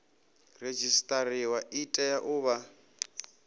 redzisiṱariwa i tea u vha